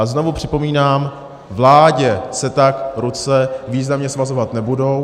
A znovu připomínám - vládě se tak ruce významně svazovat nebudou.